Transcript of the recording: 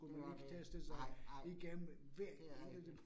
Det var jo det. Nej, nej, det rigtigt